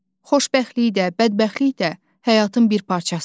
Xoşbəxtlik də, bədbəxtlik də həyatın bir parçasıdır.